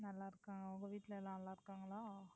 நல்லா இருக்காங்க. உங்க வீட்ல எல்லாம் நல்லா இருக்காங்களா?